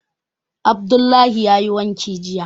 Abdullahi yayi wanki jiya